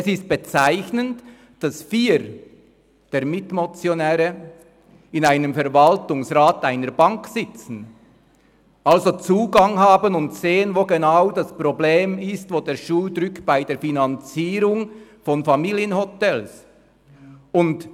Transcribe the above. Es ist bezeichnend, dass vier der Mitmotionäre in einem Verwaltungsrat einer Bank sitzen und somit Zugang haben und sehen, wo die Probleme bei der Finanzierung von Familienhotels liegen.